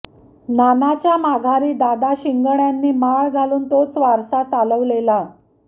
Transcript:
नानाच्या माघारी दादा शिगण्यांनी माळ घालून तोच वारसा चालवलेला